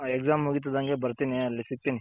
Exams ಮುಗಿತ್ತಿದಂಗೆ ಬರ್ತೀನಿ ಅಲ್ಲಿ ಸಿಕ್ತೀನಿ.